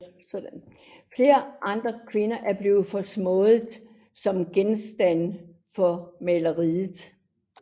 Flere andre kvinder er blevet foreslået som genstand for maleriet